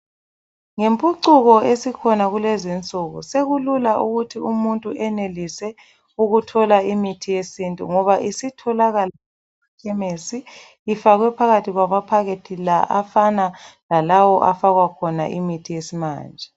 Ngempucuko esikhona kulezi insuku sekulula ukuthi umuntu enelise ukuthola imithi yesintu ngoba isitholakala ekhemesi ifakwe phakathi kwamaphakethi la afana lalawo afakwa khona imithi yesimanje.